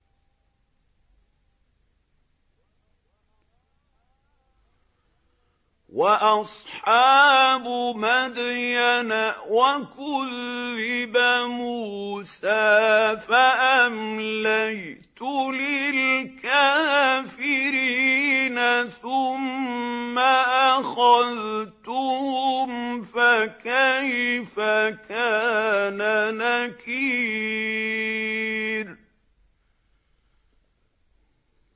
وَأَصْحَابُ مَدْيَنَ ۖ وَكُذِّبَ مُوسَىٰ فَأَمْلَيْتُ لِلْكَافِرِينَ ثُمَّ أَخَذْتُهُمْ ۖ فَكَيْفَ كَانَ نَكِيرِ